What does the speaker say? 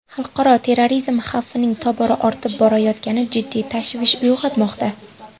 Xalqaro terrorizm xavfining tobora ortib borayotgani jiddiy tashvish uyg‘otmoqda.